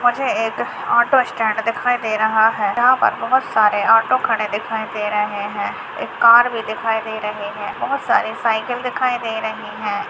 मुझे एक auto stand दिखाई दे रहा है यहाँ पर बोहोत सारे ऑटो खड़े दिखाई दे रहै है एक कार भी दिखाई दे रही है बोहोत सारी साइकिल दिखाई दे रही है।